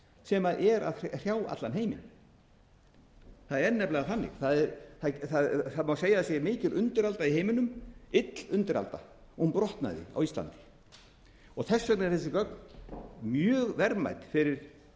sem er að frá allan heiminn það er nefnilega þannig segja má að mikil undiralda sé í heiminum ill undiralda og hún brotnaði á íslandi þess vegna eru þessi gögn mjög verðmæt fyrir